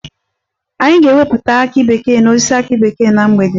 Anyị ga-ewepụta akị bekee n'osisi akị bekee na mgbede